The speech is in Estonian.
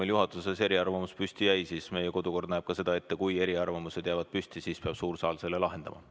Kuna juhatuses jäi püsima eriarvamus, siis näeb meie kodukord ette, et suur saal peab selle lahendama.